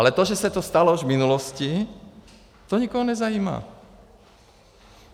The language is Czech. Ale to, že se to stalo už v minulosti, to nikoho nezajímá.